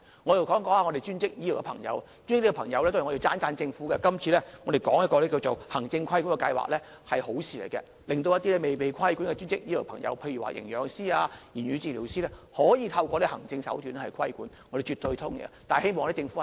我想說一說專職醫療的朋友，就專職醫療方面，這次我要讚賞政府，這個行政規管計劃是好事，令一些未被規管的專職醫療朋友，例如營養師、言語治療師，可以透過行政手段規管，我們絕對同意。